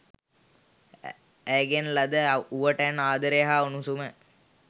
ඇයගෙන් ලද උවටැන් ආදරය හා උණුසුම